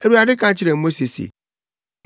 Awurade ka kyerɛɛ Mose se,